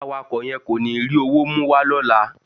Awakọ̀ yẹn kò ní rí owó mú wá lọ́la.